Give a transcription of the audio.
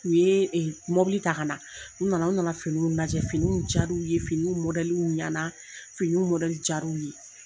U ye ɛ mɔbili ta ka na, u nana u nana finiw lajɛ, finiw ja l'u ye, fini mɔdaliw ɲana finiw mɔdɛli ja l'u ye!